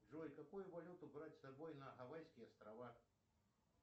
джой какую валюту брать с собой на гавайские острова